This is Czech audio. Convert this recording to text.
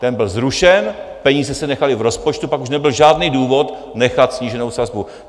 Ten byl zrušen, peníze se nechaly v rozpočtu, pak už nebyl žádný důvod nechat sníženou sazbu.